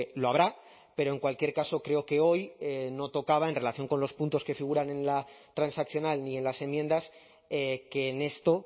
lo habrá pero en cualquier caso creo que hoy no tocaba en relación con los puntos que figuran en la transaccional ni en las enmiendas que en esto